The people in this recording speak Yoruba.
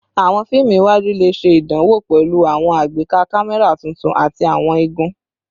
Awọn fiimu iwaju le ṣe idanwo pẹlu awọn agbeka kamẹra tuntun ati awọn igun